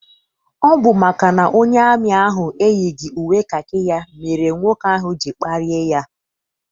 Ọ bụ maka na onye amị ahụ eyighị uwe kakị ya mere nwoke ahụ ji kparịa ya.